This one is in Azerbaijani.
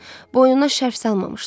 Boynuna şərf salmamışdı.